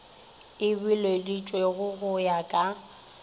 e bileditšwego go ya ka